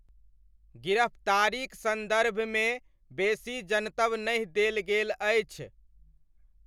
गिरफ्तारीक सन्दर्भमे बेसी जनतब नहि देल गेल अछि।